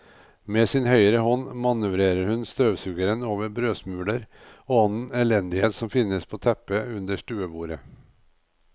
Med sin høyre hånd manøvrerer hun støvsugeren over brødsmuler og annen elendighet som finnes på teppet under stuebordet.